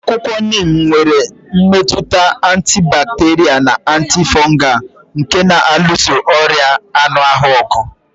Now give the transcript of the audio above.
Akwụkwọ Neem nwere mmetụta antibacterial na antifungal nke na-alụso ọrịa anụ ahụ ọgụ.